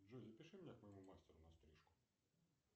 джой запиши меня к моему мастеру на стрижку